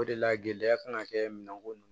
O de la gɛlɛya kan ka kɛ minɛnko kɔnɔ